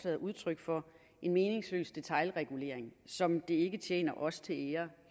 er udtryk for en meningsløs detailregulering som det ikke tjener os til ære